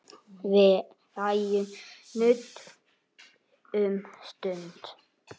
Við ræðum nudd um stund.